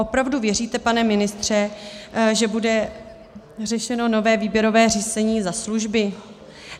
Opravdu věříte, pane ministře, že bude řešeno nové výběrové řízení za služby?